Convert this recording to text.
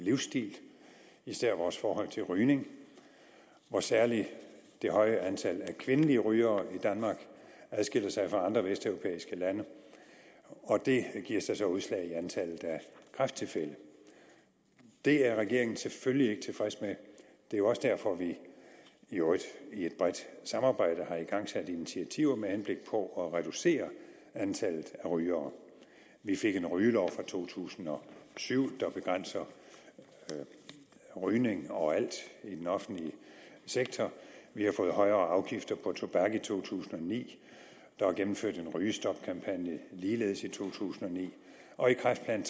livsstil især vores forhold til rygning hvor særlig det høje antal af kvindelige rygere i danmark adskiller sig fra andre vesteuropæiske lande og det giver sig så udslag i antallet af kræfttilfælde det er regeringen selvfølgelig ikke tilfreds med det er jo også derfor at vi i øvrigt i et bredt samarbejde har igangsat initiativer med henblik på at reducere antallet af rygere vi fik en rygelov i to tusind og syv der begrænser rygning overalt i den offentlige sektor vi har fået højere afgifter på tobak i to tusind og ni der er gennemført en rygestopkampagne ligeledes i to tusind og ni og i kræftplan